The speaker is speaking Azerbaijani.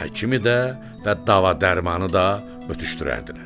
həkimi də və dava-dərmanı da ötüşdürərdilər.